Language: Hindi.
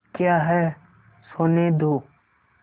क्या है सोने दो